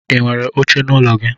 Inwere oche n'ụlọ gi?